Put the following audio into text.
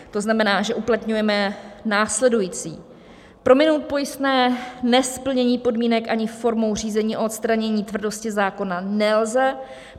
To znamená, že uplatňujeme následující: prominout pojistné nesplnění podmínek ani formou řízení o odstranění tvrdosti zákona nelze.